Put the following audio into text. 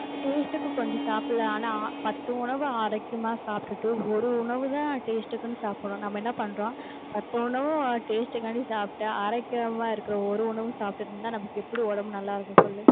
taste க்கு கொஞ்சம் சாப்பிடலாம். ஆனால் பத்து உணவை ஆரோக்கியமா சாப்பிட்டுட்டு ஒரு உணவுதான் taste க்குன்னு சாப்பிடுறோம். நம்ம என்ன பண்றோம் பத்து உணவு taste காண்டி சாப்பிட்டு ஆரோக்கியமா இருக்கிற ஒரு உணவு சாப்பிட்டுட்டு இருந்தா நமக்கு எப்படி உடம்பு நல்லா இருக்கும் சொல்லு